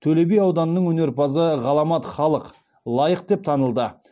төлеби ауданының өнерпазы ғаламат халық лайық деп танылды